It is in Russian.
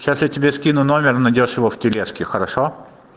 сейчас я тебе скину номер найдёшь его в тележке хорошо